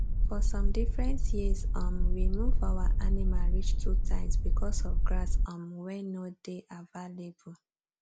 for some different years um we move our animal reach two times because of grass um wen nor dey avalaible